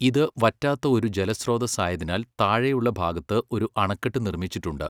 ഇത് വറ്റാത്ത ഒരു ജലസ്രോതസ്സായതിനാൽ താഴെയുള്ള ഭാഗത്ത് ഒരു അണക്കെട്ട് നിർമ്മിച്ചിട്ടുണ്ട്.